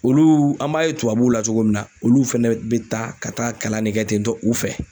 Olu an b'a ye tubabuw la cogo min na, olu fana be taa ka taa kalan de kɛ ten tɔ u fɛ.